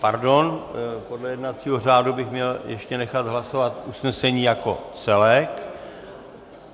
Pardon, podle jednacího řádu bych měl ještě nechat hlasovat usnesení jako celek.